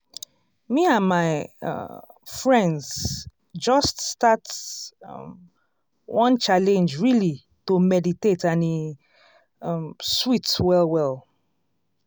me and my um friends just start um one challenge really to meditate and e um sweet well well.